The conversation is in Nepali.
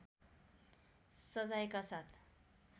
सजायका साथ